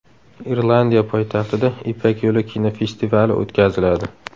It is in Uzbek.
Irlandiya poytaxtida Ipak yo‘li kinofestivali o‘tkaziladi.